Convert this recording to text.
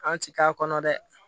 An ti k'a kɔnɔ dɛ